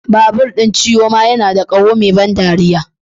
Babur Chioma yana da ƙaho mai ban ɗariya.